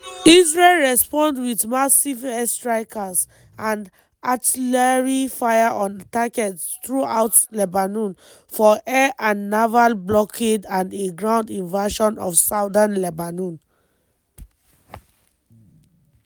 israel respond wit massive airstrikes and artillery fire on targets throughout lebanon for air and naval blockade and a ground invasion of southern lebanon.